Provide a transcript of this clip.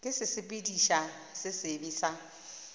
ke sesepediši se sebe sa